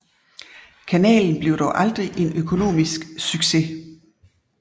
Kanalen blev dog aldrig en økonomisk succes